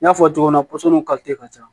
N y'a fɔ cogo min na ka ca